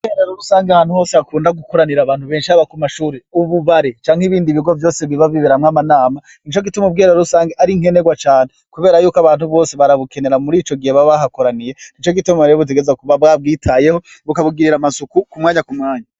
Ubwiherero rusangi ahantu hose hakunda gukoranira abantu benshi haba kumashure ububare canke ibindi bigo vyose biba biberamwo amanama nicogituma ubwiherero rusangi arinkenerwa cane kubera yuko abantu bose barabukenera muri icogihe baba bahakoraniye nicogituma rero bitegerezwa kwama babwitayeho bakabugirira amasuku kumwanya kumwanya